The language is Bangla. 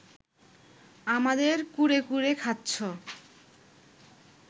আমাদের কুরে কুরে খাচ্ছ